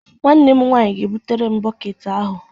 Nwanne m nwaanyị ga-ebutere m bọket ahụ.